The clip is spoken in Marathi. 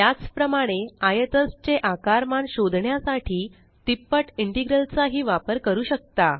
त्याच प्रमाणे आयतज चे आकारमान शोधण्यासाठी तिप्पट इंटेग्रल चा ही वापर करू शकता